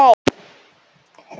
Svo sem ekki neinu.